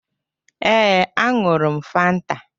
Ee, aṅụrụ m Fanta.